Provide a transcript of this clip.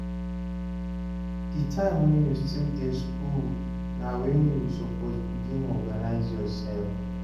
Di time wen you still dey skool na wen you suppose begin organise yoursef.